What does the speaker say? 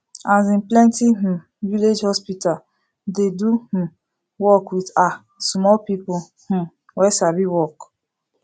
asin plenti um village hospital dey do um work with ah small people um wey sabi work